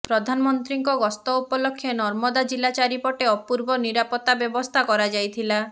ପ୍ରଧାନମନ୍ତ୍ରୀଙ୍କ ଗସ୍ତ ଉପଲକ୍ଷେ ନର୍ମଦା ଜିଲ୍ଲା ଚାରିପଟେ ଅପୂର୍ବ ନିରାପତ୍ତା ବ୍ୟବସ୍ଥା କରାଯାଇଥିଲା